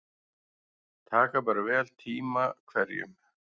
Taka ber vel tíma hverjum.